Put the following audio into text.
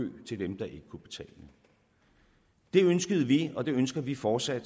til dem der ikke kunne betale det ønskede vi og det ønsker vi fortsat at